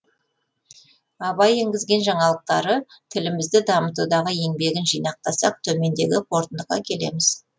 абай енгізген жаңалықтары тілімізді дамытудағы еңбегін жинақтасақ төмендегі қорытындыға келеміз